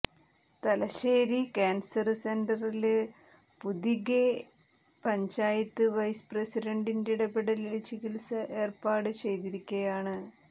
Thalassery cancer സെന്ററില് Puthige panchayat vice പ്രസിഡണ്ടിന്റെ ഇടപെടലില് ചികിത്സ ഏര്പ്പാട് ചെയ്തിരിക്കയാണ്